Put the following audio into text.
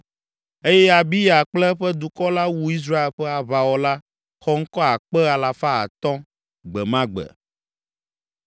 eye Abiya kple eƒe dukɔ la wu Israel ƒe aʋawɔla xɔŋkɔ akpe alafa atɔ̃ (500,000) gbe ma gbe.